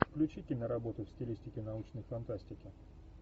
включи киноработу в стилистике научной фантастики